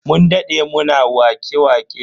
Mun dade muna wake-waƙe.